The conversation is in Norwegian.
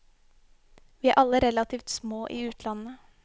Vi er alle relativt små i utlandet.